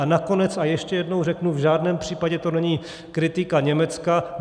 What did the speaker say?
A nakonec a ještě jednou řeknu, v žádném případě to není kritika Německa.